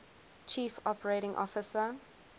chief operating officer